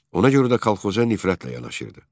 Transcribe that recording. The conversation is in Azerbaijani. Ona görə də kolxoza nifrətlə yanaşırdı.